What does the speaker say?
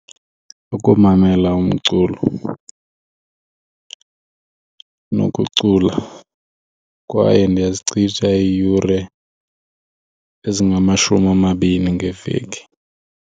Ukumamela umculo nokucula kwaye ndiyazichitha iiyure ezingamashumi amabini ngeveki.